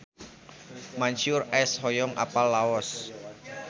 Mansyur S hoyong apal Laos